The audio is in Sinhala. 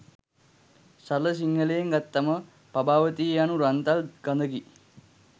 සරල සිංහලයෙන් ගත්තම පබාවතිය යනු රන් තල් කඳකි.